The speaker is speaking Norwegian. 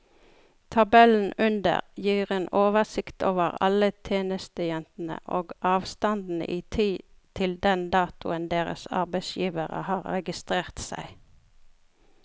Tabellen under gir en oversikt over alle tjenestejentene og avstanden i tid til den datoen deres arbeidsgivere har registrert seg.